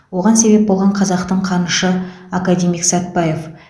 оған себеп болған қазақтың қанышы академик сәтбаев